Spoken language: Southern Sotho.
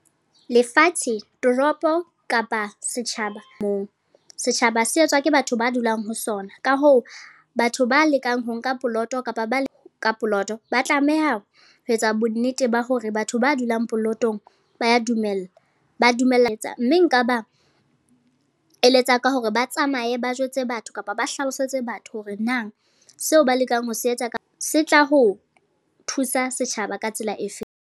Lefatshe, toropo, kapa setjhaba moo. Setjhaba se etswa ke batho ba dulang ho sona. Ka hoo, batho ba lekang ho nka poloto kapa ba ka poloto. Ba tlameha ho etsa bonnete ba hore batho ba dulang polotong ba ya dumela. Mme ba dumella etsa. Mme nka ba eletsa ka hore ba tsamaye ba jwetse batho, kapa ba hlalosetse batho hore na seo ba lekang ho se etsa ka se tla ho thusa setjhaba ka tsela e feng.